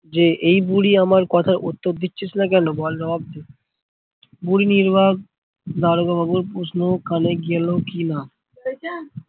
যে এই বুড়ি আমার কথার উত্তর দিচ্ছিস না কেনো? বল জবাব দে, বুড়ি নির্বাক দারোগা বাবুর প্রশ্ন কানে গেলো কি না